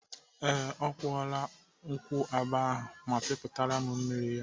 Ee, ọ kwụọla nkwụaba ahụ ma pịpụtara m mmiri ya.